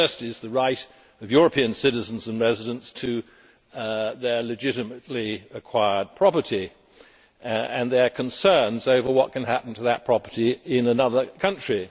The first is the right of European citizens and residents to their legitimately acquired property, with concerns over what can happen to that property in another country.